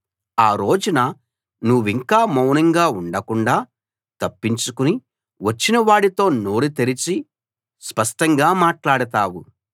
ఆ రోజున నువ్వింక మౌనంగా ఉండకుండాా తప్పించుకుని వచ్చిన వాడితో నోరు తెరిచి స్పష్టంగా మాట్లాడతావు